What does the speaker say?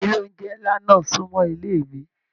Ilé oúnjẹ nlá náà sunmọ ilé mí.